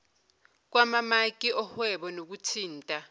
kwamamaki ohwebo nokuthinta